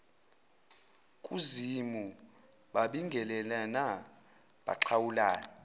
kuzimu babingelelana baxhawulana